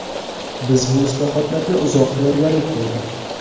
Biz bu islohotlarga uzoq tayyorgarlik ko‘rdik.